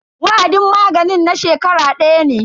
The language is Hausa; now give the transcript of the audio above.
Wa'adin maganin na shekara daya ne.